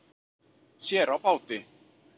Sér á báti